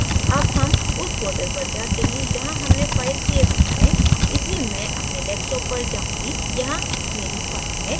अब हम उस folder पर जाते हैं जहाँ हमने file so की है इसलिए मैं अपने desktop पर जाऊँगी यहाँ मेरी file है